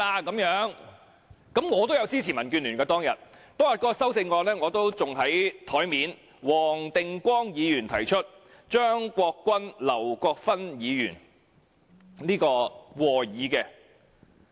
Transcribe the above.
我當天也支持民建聯，那項修正案仍放在我的桌上，由黃定光議員提出，張國鈞議員及劉國勳議員和議。